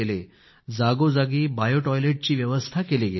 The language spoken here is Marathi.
जागोजागी बायो टॉयलेट ची पण व्यवस्था केली गेली